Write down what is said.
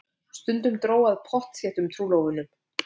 Stundum dró að pottþéttum trúlofunum.